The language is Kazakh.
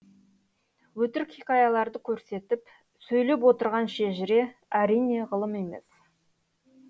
өтірік хикаяларды көрсетіп сөйлеп отырған шежіре әрине ғылым емес